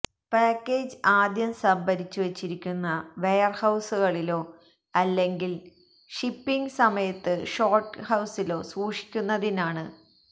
package ആദ്യം സംഭരിച്ചു വച്ചിരിക്കുന്ന വെയർഹൌസുകളിലോ അല്ലെങ്കിൽ ഷിപ്പിങ് സമയത്ത് ഷോർട്ട്ഹൌസിലോ സൂക്ഷിക്കുന്നതിനാണ്